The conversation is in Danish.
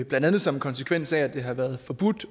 blandt andet som konsekvens af at det har været forbudt